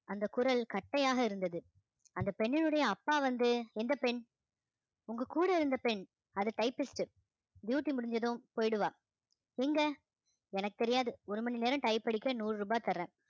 அந்த குரல் கட்டையாக இருந்தது அந்த பெண்ணினுடைய அப்பா வந்து எந்த பெண் உங்க கூட இருந்த பெண் அது typist duty முடிஞ்சதும் போயிடுவா எங்க எனக்கு தெரியாது ஒரு மணி நேரம் type அடிக்க நூறு ரூபாய் தர்றேன்